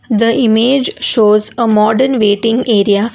the image shows a modern waiting area.